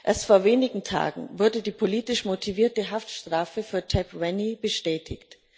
Erst vor wenigen Tagen wurde die politisch motivierte Haftstrafe für Tep Vanny bestätigt.